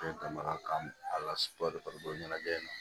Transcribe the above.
ɲɛnajɛ in na